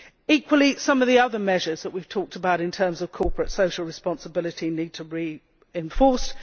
Equally, some of the other measures that we have talked about, in terms of corporate social responsibility, need to be enforced.